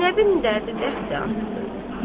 Zeynəbin dərdi dəxi artdı.